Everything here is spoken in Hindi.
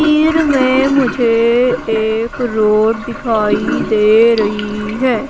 तीर में मुझे एक रोड दिखाई दे रही है।